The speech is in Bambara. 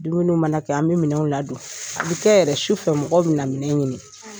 Dumuniw mana kɛ an bɛ minɛn ladon a b'i kɛ yɛrɛ su fɛ mɔgɔ bɛ na minɛ ɲini.